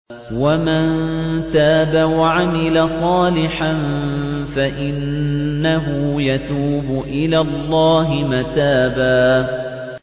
وَمَن تَابَ وَعَمِلَ صَالِحًا فَإِنَّهُ يَتُوبُ إِلَى اللَّهِ مَتَابًا